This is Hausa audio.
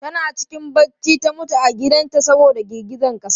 Tana cikin bacci ta mutu a gidan ta saboda girgizan ƙasa.